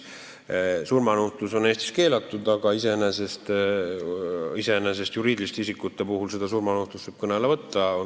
Surmanuhtlus on Eestis keelatud, aga iseenesest võib juriidiliste isikute puhul seda kõne alla võtta.